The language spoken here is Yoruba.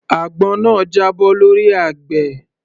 Àgbọn náà jábọ́ lọ́rí àgbẹ̀